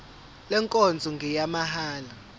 le nkonzo ngeyamahala